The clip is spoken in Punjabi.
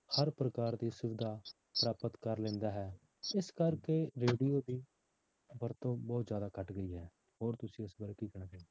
ਹਰ ਪ੍ਰਕਾਰ ਦੀ ਸੁਵਿਧਾ ਪ੍ਰਾਪਤ ਕਰ ਲੈਂਦਾ ਹੈ ਇਸ ਕਰਕੇ radio ਦੀ ਵਰਤੋਂ ਬਹੁਤ ਜ਼ਿਆਦਾ ਘੱਟ ਗਈ ਹੈ ਹੋਰ ਤੁਸੀਂ ਇਸ ਬਾਰੇ ਕੀ ਕਹਿਣਾ ਚਾਹੋਗੇ।